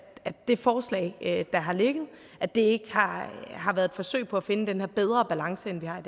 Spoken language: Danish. det forslag der har ligget ikke har været et forsøg på at finde den her bedre balance end vi har